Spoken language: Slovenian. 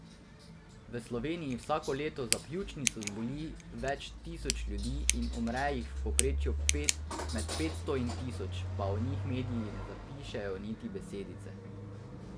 V Sloveniji vsako leto za pljučnico zboli več tisoč ljudi in umre jih v povprečju med petsto in tisoč, pa o njih mediji ne zapišejo niti besedice.